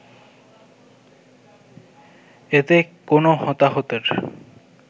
এতে কোনো হতাহতের